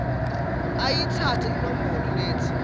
ayitsatse inombolo letsi